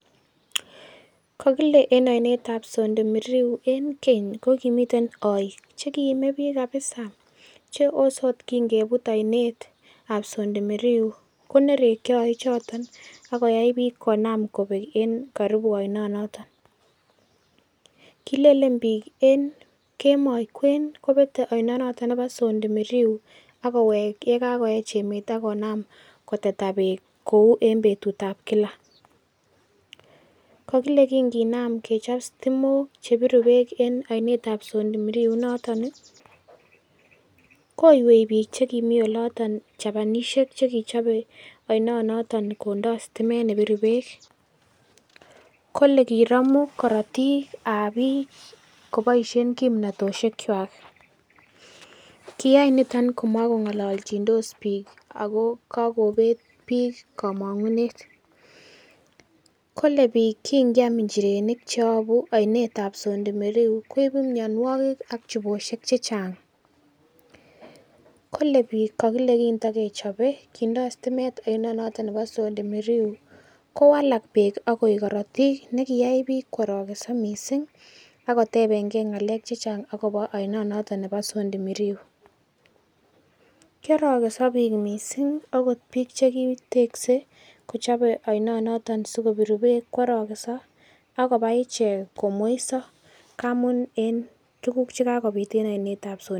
Kokile en oinet ab Sondu Miriu en keny kokimiten oik che kiime biik kabisa che ose ot kingebut oinet ab Sondu Miriu, konerokyo oichoton ak koyai biik konam kobek en karibu oinonoto, kileleln biik en kemoi kwen kobete oinonoto nebo Sondu Miriu ak kowek ye kagoech emet ak konam koteta beek kou en betut ab kila. Kokile kinginam kechop sitimok che biru bee en oinet ab Sondo Miriu inoton i, koywei biik che kimi oloto, Japanisiek ch ekichobe oinonoto kondo sitimet nebiru beek, kole kiromu korotik ab biik koboishen, kimnatoshek kwak. Kiyai niton komakong'olochindos biik ago kogobet biik komong'unet. Kole biik kiingyam injirenik che yobu oinet ab Sondu Miriu koibu mianwogik ak chubosiek chechang, kole biik kindokechope kindo sitimet oinonoto bo Sondu Miriu kowalak beek ak koik korotik ne kiyai biik koorokenso mising ak kotebenge ng'alek chechang agobo oinonoto nebo Sondu Miriu kiarokenso biik mising agot biik ch ekitekse kochope oinonoto sikopiru beek koarokenso ak koba ichek komweiso ngamun en tuguk che kagobit en oinet.